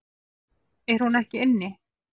Er hún ekki inni?